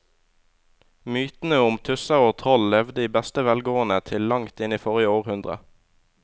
Mytene om tusser og troll levde i beste velgående til langt inn i forrige århundre.